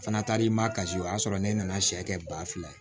O fana taara i ma kasi o y'a sɔrɔ ne nana sɛ kɛ ba fila ye